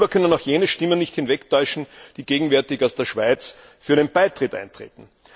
Darüber können auch jene Stimmen nicht hinwegtäuschen, die gegenwärtig aus der Schweiz für einen Beitritt eintreten.